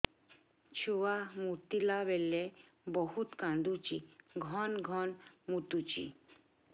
ଛୁଆ ମୁତିଲା ବେଳେ ବହୁତ କାନ୍ଦୁଛି ଘନ ଘନ ମୁତୁଛି